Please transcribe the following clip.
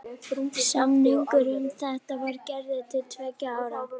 Samningur um þetta var gerður til tveggja ára.